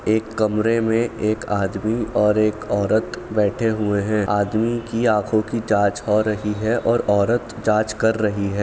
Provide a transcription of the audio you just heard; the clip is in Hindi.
एक कमरे में एक आदमी और एक औरत बैठे हुए है आदमी की आँखों की जाँच हो रही है और औरत जाँच कर रही है।